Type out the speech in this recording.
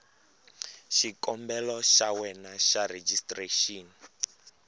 xikombelo xa wena xa rejistrexini